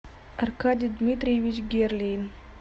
аркадий дмитриевич герлейн